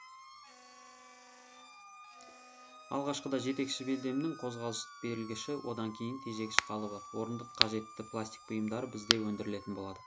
алғашқыда жетекші белдемнің қозғалыс берілгіші одан кейін тежегіш қалыбы орындық қажетті пластик бұйымдары бізде өндірілетін болады